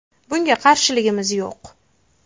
Bunga qarshiligimiz yo‘q.